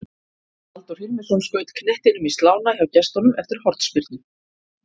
Halldór Hilmisson skaut knettinum í slána hjá gestunum eftir hornspyrnu.